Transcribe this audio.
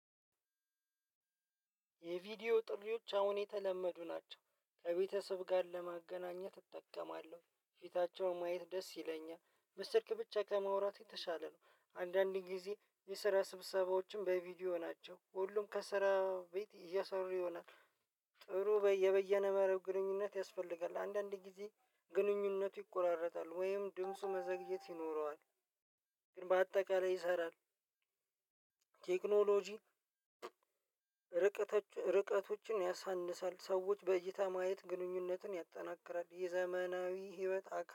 የቪዲዮ ጥሪዎች አሁን የተለመዱ ናቸው ከቤተሰብ ጋር ለማገናኘት እጠቀማለሁ ፊታቸውን ማየት ደስ ይለኛል በስልክ ብቻ ከመውራት የተሻለ ነው። አንዳንድ ጊዜ የስራ ስብሰባዎችም በቪዲዮ ናቸው ሁሉም ከስራ ቤት እየሰሩ ይሆናል። ጥሩ የበየነ መረብ ግንኙነት ያስፈልጋል አንዳንድ ጊዜ ግንኙነቱ ይቆራረጣል ወይም ድምፁ መዘግየት ይኖረዋል። ግን በአጠቃላይ ይሰራል። ቴክኖሎጂ ርቀቶችን ያሳንሳል ሰዎች በእይታ ማየት ግንኙነትን ያጠናክራል። የዘመናዊ ህይወት አካ